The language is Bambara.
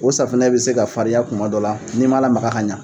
O safunɛ bɛ se ka farinya kuma dɔ la, n'i m'a minɛ ka ɲan.